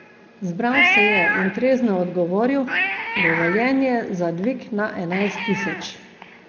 Zbral se je in trezno odgovoril, dovoljenje za dvig na enajst tisoč.